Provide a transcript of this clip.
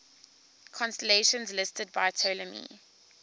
constellations listed by ptolemy